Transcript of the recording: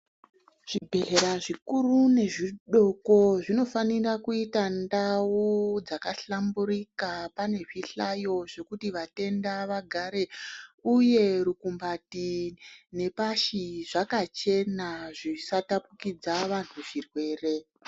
Zvibhedhlera zvikuru nezvidoko zvinofanira kuita ndau dzakahlamburika pane zvihlayo zvekuti vatenda vagare, uye rukumbati, nepashi zvakachena, zvisatapikidza vanhu zvirwere.